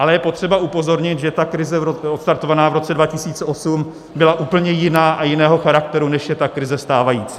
Ale je potřeba upozornit, že ta krize odstartovaná v roce 2008 byla úplně jiná a jiného charakteru, než je ta krize stávající.